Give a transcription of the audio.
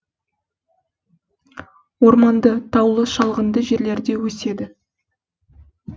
орманды таулы шалғынды жерлерде өседі